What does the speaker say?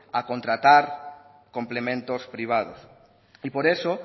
a contratar complementos privados y por eso